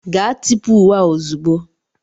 Gaa tipụ uwe a ozugbo!